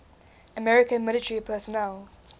american military personnel